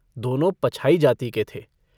दोनों पछाई जाति के थे।